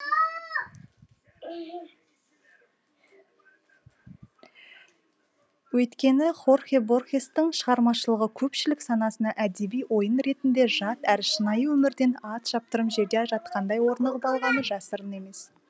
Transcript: өйткені хорхе борхестың шығармашылығы көпшілік санасына әдеби ойын ретінде жат әрі шынайы өмірден ат шаптырым жерде жатқандай орнығып алғаны жасырын емес